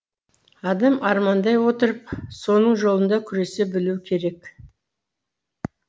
адам армандай отырып соның жолында күресе білуі керек